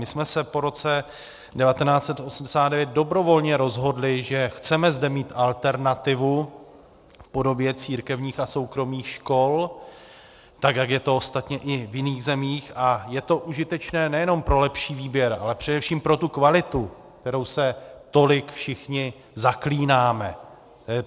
My jsme se po roce 1989 dobrovolně rozhodli, že chceme zde mít alternativu v podobě církevních a soukromých škol, tak jak je to ostatně i v jiných zemích, a je to užitečné nejenom pro lepší výběr, ale především pro tu kvalitu, kterou se tolik všichni zaklínáme.